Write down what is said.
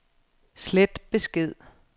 slet besked